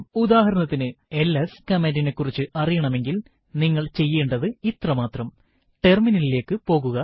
ഉദാഹരണത്തിനു എൽഎസ് കമാൻഡിനെ കുറിച്ച് അറിയണമെങ്കിൽ നിങ്ങൾ ചെയ്യേണ്ടുന്നത് ഇത്ര മാത്രം ടെർമിനലിലേക്ക് പോകുക